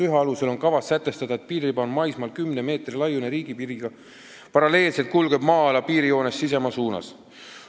1 alusel on kavas sätestada: "Piiririba on maismaal kümne meetri laiune riigipiiriga paralleelselt kulgev maa-ala piirijoonest sisemaa suunas.